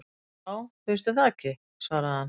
Já, finnst þér það ekki svaraði hann.